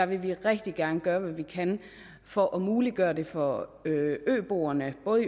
vi rigtig gerne gøre alt hvad vi kan for at muliggøre det for øboerne både